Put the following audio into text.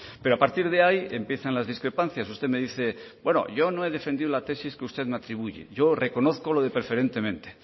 pero a partir de ahí empiezan las discrepancias usted me dice yo no he defendido la tesis que usted me atribuye yo reconozco lo de preferentemente